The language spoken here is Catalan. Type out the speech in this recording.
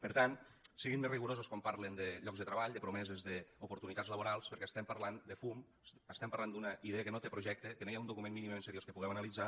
per tant siguin més rigorosos quan parlen de llocs treball de promeses d’oportunitats laborals perquè parlem de fum parlem d’una idea que no té projecte de què no hi ha un document mínimament seriós que puguem analitzar